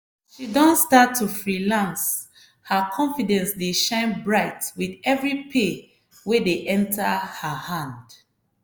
as she don start to freelance her confidence dey shine bright with every pay wey dey enter her hand.